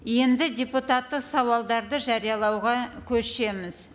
енді депутаттық сауалдарды жариялауға көшеміз